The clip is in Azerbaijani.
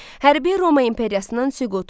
Hərbi Roma imperiyasının süqutu.